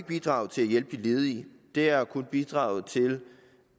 bidraget til at hjælpe de ledige det har kun bidraget til